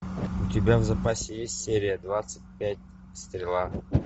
у тебя в запасе есть серия двадцать пять стрела